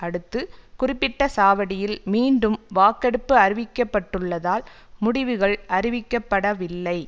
அடுத்து குறிப்பிட்ட சாவடியில் மீண்டும் வாக்கெடுப்பு அறிவிக்கப்பட்டுள்ளதால் முடிவுகள் அறிவிக்கப்படவில்லை